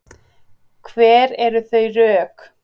Hver eru þau rök?